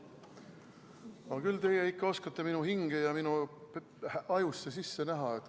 No küll teie ikka oskate minu hinge ja minu ajusse näha.